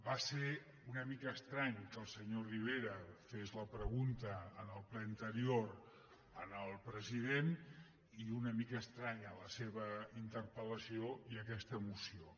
va ser una mica estrany que el senyor rivera fes la pregunta en el ple anterior al president i una mica estranya la seva interpel·lació i aquesta moció